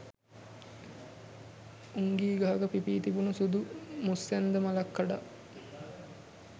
උංගී ගහක පිපී තිබුණු සුදු මුස්සැන්ද මලක් කඩා